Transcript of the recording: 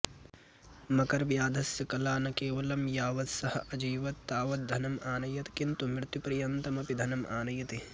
मकरव्याधस्य कला न केवलं यावत् सः अजीवत् तावत् धनम् आनयत् किन्तु मृत्युपर्यन्तमपि धनम् आनयति